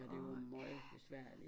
Det var møgbesværligt